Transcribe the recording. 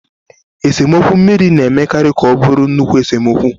Esemokwu mmiri na-emekarị ka ọ bụrụ nnukwu esemokwu.